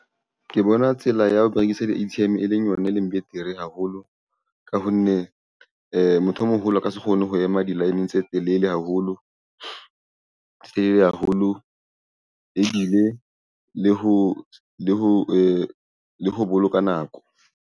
Ke bona tsela ya ho rekisa di-A_T_M e leng yona e leng betere haholo ka hone motho o moholo o ka se kgone ho ema di-line-ng tse telele haholo tse haholo ebile le ho boloka nako.